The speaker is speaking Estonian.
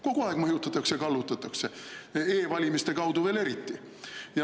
Kogu aeg mõjutatakse ja kallutatakse, e-valimiste kaudu veel eriti.